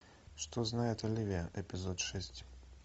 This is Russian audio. что знает оливия эпизод шесть